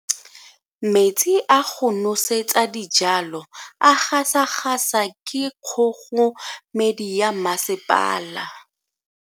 Metsi a go nosetsa dijalo a gasa gasa ke kgogomedi ya masepala.